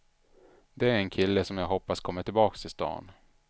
Det är en kille jag hoppas kommer tillbaka till stan.